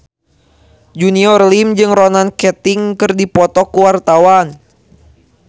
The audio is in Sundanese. Junior Liem jeung Ronan Keating keur dipoto ku wartawan